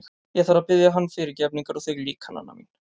Ég þarf að biðja hann fyrirgefningar og þig líka, Nanna mín.